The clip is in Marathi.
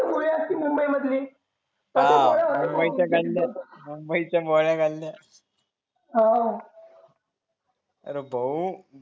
मुंबई मधली हो आर भाऊ